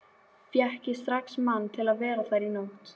Fékk ég strax mann til að vera þar í nótt.